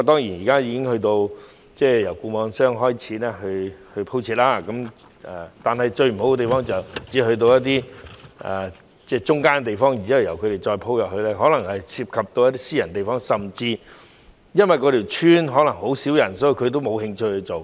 現時由固網商開始鋪設網絡設施，最大的缺點是只可鋪設到例如村口的地方，如果要再鋪設得更深入，可能涉及一些私人地方，而甚至因為某些鄉村只有很少人口，固網商沒興趣去做。